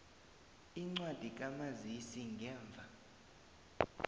incwadi kamazisi ngemva